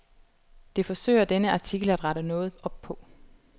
Det forsøger denne artikel at rette noget op på.